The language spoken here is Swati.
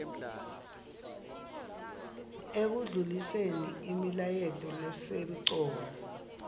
ekundluliseni imilayeto lesemcoka